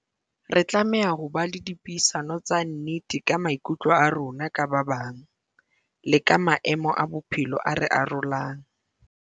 Re tlameha ho ba le dipuisano tsa nnete ka maikutlo a rona ka ba bang, le ka maemo a bophelo a re arolang.